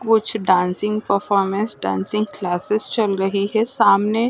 कुछ dancing performance dancing classes चल रही है सामने --